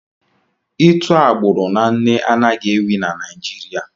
Itu agbụrụ na nne anaghi-ewi na Naịjirịa.